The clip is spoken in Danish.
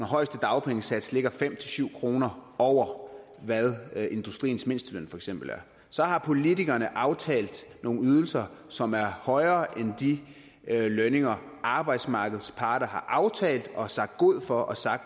højeste dagpengesats ligger fem syv kroner over hvad industriens mindsteløn for eksempel er så har politikerne aftalt nogle ydelser som er højere end de lønninger arbejdsmarkedets parter har aftalt og har sagt god for